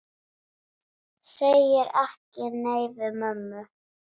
Segir ekki nei við mömmu!